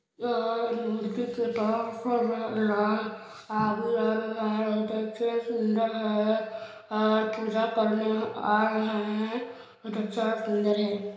यह मूर्ति सुन्दर है और पुजा करने आ रहे है बहोत अच्छा सुन्दर है।